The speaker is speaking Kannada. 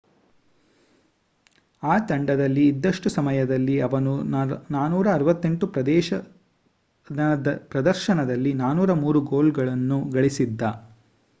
ಆ ತಂಡದಲ್ಲಿ ಇದ್ದಷ್ಟು ಸಮಯದಲ್ಲಿ ಅವನು 468 ಪ್ರದರ್ಶನದಲ್ಲಿ 403 ಗೋಲ್ಗಳನ್ನು ಗಳಿಸಿದ್ದ